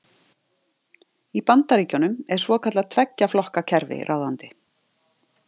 Í Bandaríkjunum er svokallað tveggja flokka kerfi ráðandi.